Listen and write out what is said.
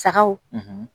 Sagaw